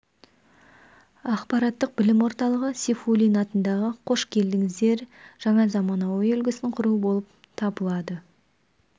ақпараттық білім орталығы сейфуллин атындағы қош келдіңіздер жаңа заманауи үлгісін құру болып табылады